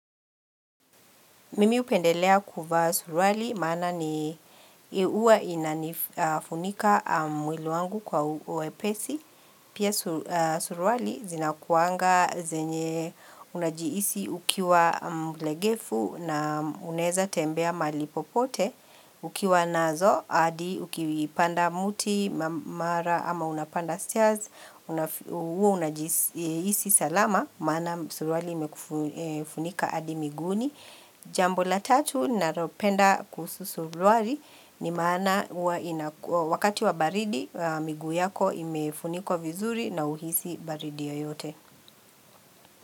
Mimi hupendelea kuva surwali, maana ni huwa inafunika mwili wangu kwa uwepesi. Pia surwali zina kuanga zenye unajihisi ukiwa mlegefu na unaweza tembea mahalipopote. Ukiwa nazo, hadi ukiwipanda muti, mara ama unapanda stairs, huwa unajihisi salama, maana surwali imekufunika hadi miguuni. Jambo la tatu nalopenda kuhusu surwali ni maana huwa ina wakati wa baridi miguu yako imefunikwa vizuri na uhisi baridi yo yote.